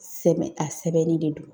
Sɛbɛ,. a sɛbɛnnen de don